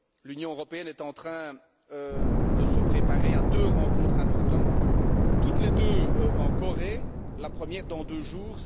L'Union européenne est en train de se préparer à deux rencontres importantes, toutes les deux en Corée, la première dans deux jours.